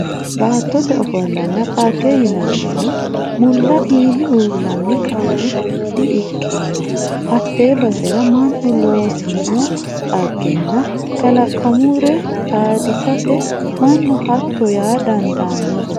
Baattote ofollonna dhagge yinannihu mulla iimi uullanni ka'ne di"ikkino hate basera mannu loosino dhaggenna kalaqumure xaadisete mannu hatto yaa dandaanohu.